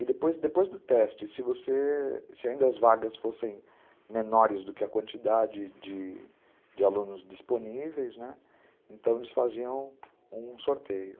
E depois depois do teste, se ainda as vagas fossem menores do que a quantidade de de alunos disponíveis, né, então eles faziam um sorteio.